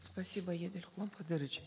спасибо едиль куламкадырович